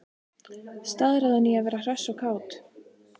Staðráðin í að vera hress og kát.